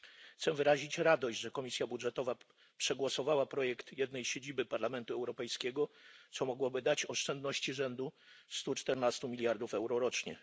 Cieszę się, że Komisja Budżetowa przegłosowała projekt jednej siedziby Parlamentu Europejskiego, co mogłoby dać oszczędności rzędu stu czternastu miliardów euro rocznie.